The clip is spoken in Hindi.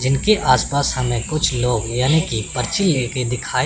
जिनके आस पास हमें कुछ लोग यानि कि पर्ची लेके दिखाई--